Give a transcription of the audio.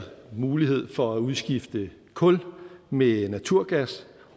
mulighed for at udskifte kul med naturgas